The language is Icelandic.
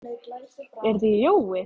Telur þú að það hái ykkur mikið?